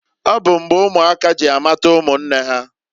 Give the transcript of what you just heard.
Ọ bụ mgbe ụmụaka ji amata ụmụnne ha.